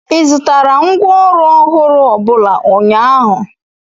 ị zụtara ngwá ọrụ ọhụrụ ọbụla ụnyaahụ?